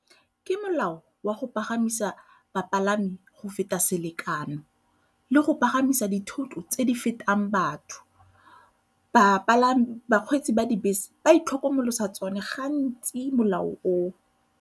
Ke molao wa go pagamisa bapalami go feta selekano le go pagamisa dithoto tse di fetang batho. Bapalami, bakgweetsi ba dibese ba itlhokomolosa tsone gantsi molao oo.